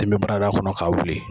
min barada kɔnɔ k'a wuli